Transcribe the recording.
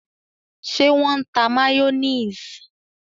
Ṣe wọn n tá mayonnaise?